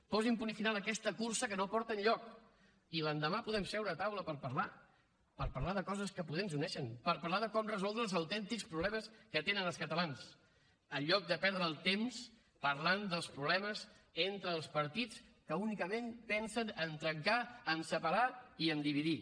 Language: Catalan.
posin punt final a aquesta cursa que no porta enlloc i l’endemà podem seure a taula per parlar per parlar de coses que potser ens uneixen per parlar de com resoldre els autèntics problemes que tenen els catalans en lloc de perdre el temps parlant dels problemes entre els partits que únicament pensen a trencar a separar i a dividir